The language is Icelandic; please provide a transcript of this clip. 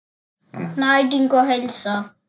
Næring og heilsa.